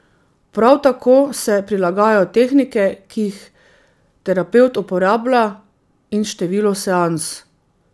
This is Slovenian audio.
Prav tako se prilagajajo tehnike, ki jih terapevt uporablja in število seans.